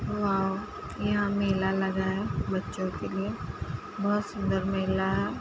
Wow यहां मेल लगा है बच्चों के लिए। बोहोत सुन्दर मेला --